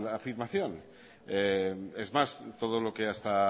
afirmación es más todo lo que hasta